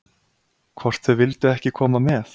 Hvort þau vildu ekki koma með?